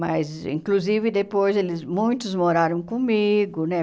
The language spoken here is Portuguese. Mas, inclusive, depois eles muitos moraram comigo, né?